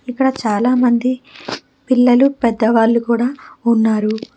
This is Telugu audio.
ఇక్కడ చాలామంది పిల్లలు పెద్దవాళ్ళు కూడా ఉన్నారు.